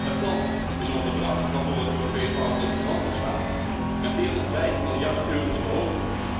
Het plan is om het bedrag waarvoor het Europees Parlement garant moet staan, met meer dan vijf miljard euro te verhogen.